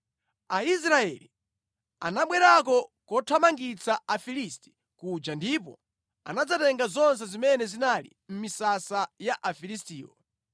Aisraeli anabwerako kothamangitsa Afilisti kuja ndipo anadzatenga zonse zimene zinali mʼmisasa ya Afilistiwo.